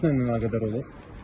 Bəs partlayış nə ilə əlaqədar olub?